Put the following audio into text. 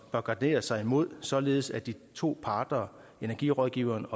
bør gardere sig imod således at de to parter energirådgiveren